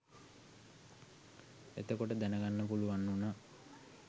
එතකොට දැනගන්න පුළුවන් වුණා